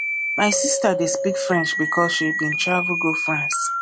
my sista dey speak french because she bin travel go france